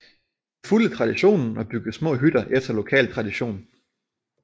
De fulgte traditionen og byggede små hytter efter lokal tradition